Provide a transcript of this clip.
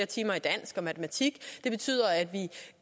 timer i dansk og matematik det betyder at vi